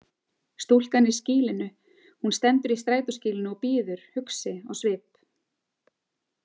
Stúlkan í skýlinu Hún stendur í strætóskýlinu og bíður, hugsi á svip.